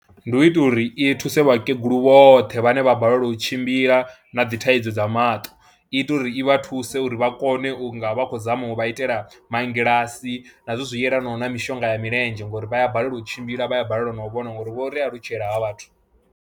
Ndi u itela uri i thuse vhakegulu vhoṱhe vhane vha balelwa u tshimbila na dzi thaidzo dza maṱo, i ita uri i vha thuse uri vha kone u nga vha khou zama u vha itela mangilasi na zwithu zwi yelanaho na mishonga ya milenzhe ngori vha a balelwa u tshimbila, vha ya balelwa na u vhona ngori vho ri alutshela havha vhathu.